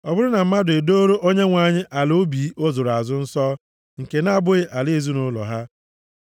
“ ‘Ọ bụrụ na mmadụ e doro Onyenwe anyị ala ubi ọ zụrụ azụ nsọ, nke na-abụghị ala ezinaụlọ ha,